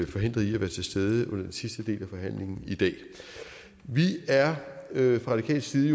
er forhindret i at være til stede under den sidste del af forhandlingen i dag vi er jo fra radikales side